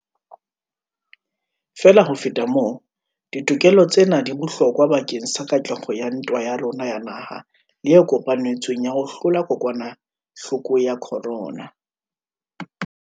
Feela ho feta moo, ditokelo tsena di bohlokwa bakeng sa katleho ya ntwa ya rona ya naha le e kopanetsweng ya ho hlola kokwanahloko ya corona.